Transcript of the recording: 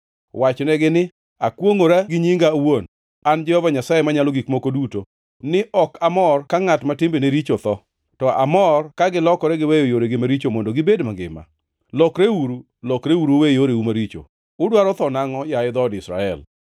Wachnegi ni, ‘Akwongʼora gi nyinga awuon an Jehova Nyasaye Manyalo Gik Moko Duto ni ok amor ka ngʼat ma timbene richo otho, to amor ka gilokore giweyo yoregi maricho mondo gibed mangima. Lokreuru! Lokreuru uwe yoreu maricho! Udwaro tho nangʼo, yaye dhood Israel?’